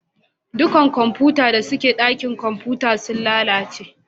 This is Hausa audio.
Duka kwamfutan da suke dakin kwamfuta sun lalace